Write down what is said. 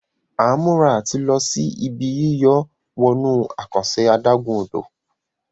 A ń mura àti ló sì Ibi yíyọ̀ wọnú àkànṣe adágún-odò.